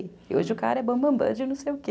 E hoje o cara é bambambã de não sei o quê.